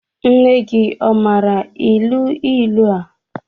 Nne gị ọ maara ilu ilu a?